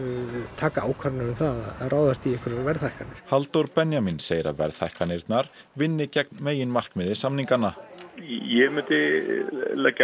taki ákvarðanir um það að ráðast í einhverjar verðhækkanir Halldór Benjamín segir að verðhækkanirnar vinni gegn meginmarkmiði samninganna ég myndi leggja